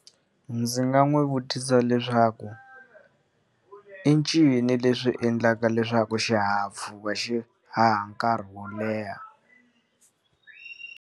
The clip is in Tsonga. Ndzi nga n'wi vutisa leswaku, i ncini leswi endlaka leswaku xihahampfhuka xi haha nkarhi wo leha?